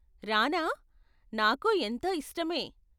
రానా? నాకూ ఎంతో ఇష్టమే.